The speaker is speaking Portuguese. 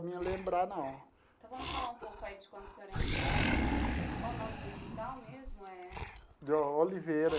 Me lembrar não. Então, vamos falar um pouco aí de quando o senhor entrou no... Qual o nome do hospital mesmo é? De Oliveira.